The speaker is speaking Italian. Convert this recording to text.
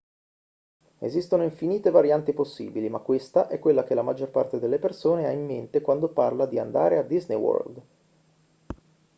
esistono infinite varianti possibili ma questa è quella che la maggior parte delle persone ha in mente quando parla di andare a disney world